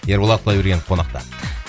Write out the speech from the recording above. ерболат құдайбергенов қонақта